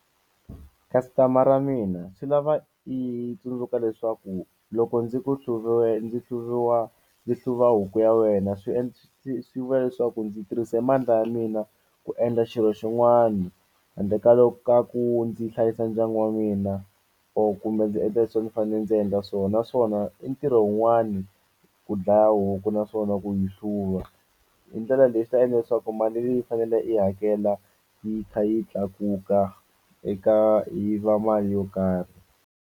Customer ra mina swi lava i tsundzuka leswaku loko ndzi ku hluviwe ndzi hluviwa ndzi hluva huku ya wena swi swi swi vula leswaku ndzi tirhise mandla ya mina ku endla xilo xin'wani handle ka ka ku ndzi hlayisa ndyangu wa mina or kumbe ndzi endla leswi a ndzi fane ndzi endla swona naswona i ntirho wun'wani ku dlaya huku na swona ku yi hluva hi ndlela leyi swi ta endla leswaku mali leyi i fanele i hakela yi kha yi tlakuka eka yi va mali yo karhi.